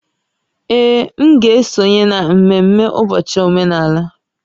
Ee, m ga-esonye na ememme ụbọchị omenala